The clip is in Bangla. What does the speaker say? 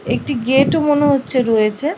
একটি গেট -ও মনে হচ্ছে রয়েছে ।